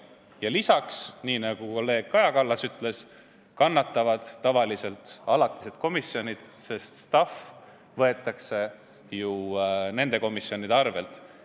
Peale selle, nii nagu kolleeg Kaja Kallas ütles, kannatavad tavaliselt alatised komisjonid, sest staff võetakse ju nendest komisjonidest.